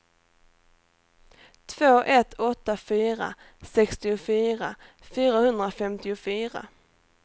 två ett åtta fyra sextiofyra fyrahundrafemtiofyra